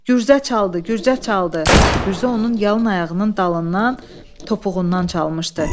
Gürzə çaldı, gürzə çaldı, gürzə onun yalın ayağının dalından topuğundan çalmışdı.